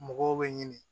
Mɔgɔw bɛ ɲini